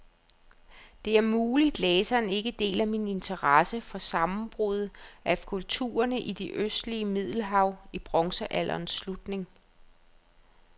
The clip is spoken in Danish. Det er muligt, læseren ikke deler min interesse for sammenbruddet af kulturerne i det østlige middelhav i bronzealderens slutning.